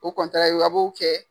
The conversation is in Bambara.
O ye wo ye a b'o kɛ.